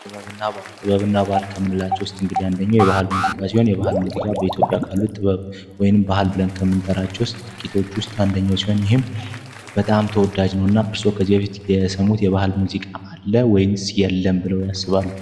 ጥበብና ባህል ጥበብና ባህል ከምንላቸው ዉስጥ እንግዲህ አንኛዉ ባህላዊ ሙዚቃ ነዉ በኢትዮጵያ እጅግ ተወዳጅ ነዉ